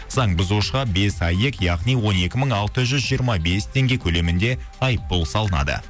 заң бұзушыға бес аек яғни он екі мың алты жүз жиырма бес теңге көлемінде айыппұл салынады